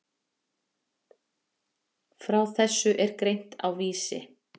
Frá þessu er greint á Vísi.